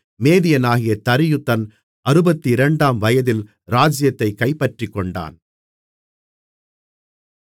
மேதியனாகிய தரியு தன் அறுபத்திரண்டாம் வயதில் ராஜ்ஜியத்தைக் கைப்பற்றிக்கொண்டான்